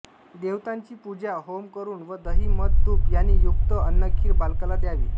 देवतांची पूजा होम करून व दही मध तुप यांनी युक्त अन्नखीर बालकाला द्यावी